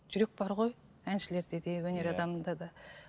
жүрек бар ғой әншілерде де өнер адамында да